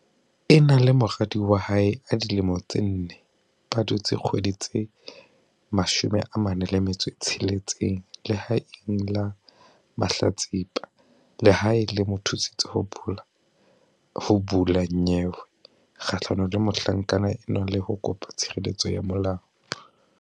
Ena le moradi wa hae a dilemo tse nne ba dutse dikgwedi tse 46 lehaeng la mahlatsipa. Lehae le mo thusitse ho bula nyewe kgahlano le mohlankana enwa le ho kopa tshireletso ya molao.